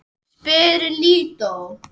spyr Lídó.